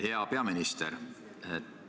Hea peaminister!